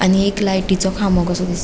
आणि एक लायटिचो खामो कसो दिसता.